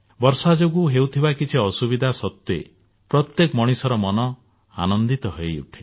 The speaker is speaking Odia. ବର୍ଷା ଯୋଗୁ ହେଉଥିବା କିଛି ଅସୁବିଧା ସତ୍ୱେ ପ୍ରତ୍ୟେକ ମଣିଷର ମନ ଆନନ୍ଦିତ ହୋଇଉଠେ